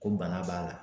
Ko bana b'a la